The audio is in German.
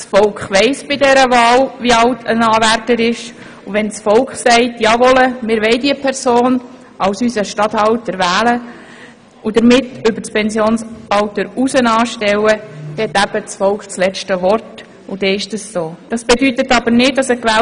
Das Volk weiss bei dieser Wahl, wie alt ein Anwärter ist, und wenn das Volk sagt, es wolle diese Person als Regierungsstatthalter wählen und damit über das Pensionsalter hinaus anstellen, dann hat das Volk das letzte Wort und das gilt.